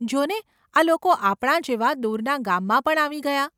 જો ને આ લોકો આપણા જેવા દૂરના ગામમાં પણ આવી ગયા.